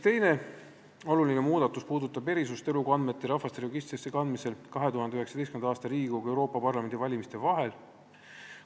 Teine oluline muudatus puudutab erisust elukohaandmete rahvastikuregistrisse kandmisel 2019. aasta Riigikogu ja Euroopa Parlamendi valimiste vahel.